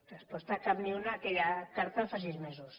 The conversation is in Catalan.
resposta cap ni una a aquella carta de fa sis mesos